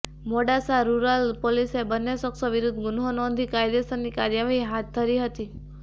Modasa rural પોલીસે બંને શખ્શો વિરુદ્ધ ગુન્હો નોંધી કાયદેસરની કાર્યવાહી હાથ ધરી હતી